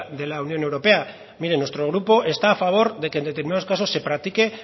de la unión europea mire nuestro grupo está a favor de que en determinados casos se practique